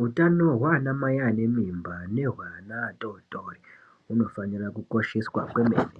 Hutano hwanamai ane mimba nehweana atotori hunofanira kukosheswa kwemene